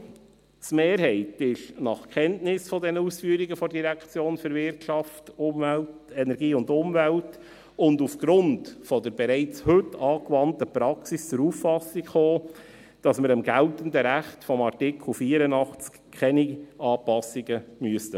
Die Kommissionsmehrheit ist in Kenntnis dieser Ausführungen der WEU und aufgrund der bereits heute angewandten Praxis zur Auffassung gekommen, dass wir am geltenden Recht beim Artikel 84 keine Anpassungen vornehmen müssen.